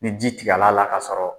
Ni ji tigɛl'a la k'a sɔrɔ